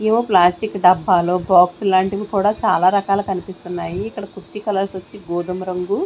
ఏవో ప్లాస్టిక్ డబ్బాలో బాక్సులాంటివి కూడా చాలా రకాలు కన్పిస్తున్నాయి ఇక్కడ కుర్చీ కలర్స్ వొచ్చి గోధుమ రంగు.